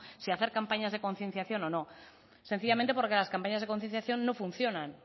si hacer campañas de concienciación o no sencillamente porque las campañas de concienciación no funcionan